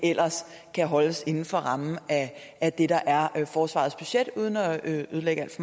kan holdes inden for rammen af det der er forsvarets budget uden at at ødelægge alt